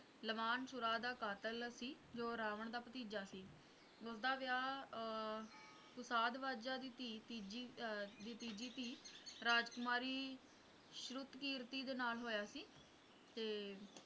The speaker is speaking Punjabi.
ਲੁਬਾਨਸੁਰਾ ਦਾ ਕਾਤਿਲ ਸੀ ਜੋ ਰਾਵਣ ਦਾ ਭਤੀਜਾ ਸੀ ਉਸਦਾ ਵਿਆਹ ਅਹ ਸੁਸ਼ਾਧ ਵਜਾ ਦੀ ਧੀ ਤੀਜੀ ਆ ਦੀ ਤੀਜੀ ਧੀ ਰਾਜਕੁਮਾਰੀ ਸ਼੍ਰੁਤ ਕਿਰਤੀ ਨਾਲ ਹੋਇਆ ਸੀ ਤੇ